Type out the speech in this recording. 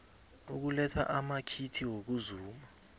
ukuletha amakhiti wokuzuma